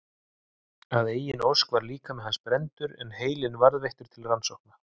Að eigin ósk var líkami hans brenndur en heilinn varðveittur til rannsókna.